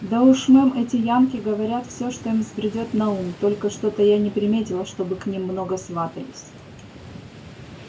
да уж мэм эти янки говорят все что им взбредёт на ум только что-то я не приметила чтобы к ним много сватались